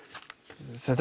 þetta